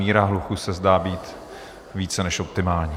Míra hluku se zdá být více než optimální.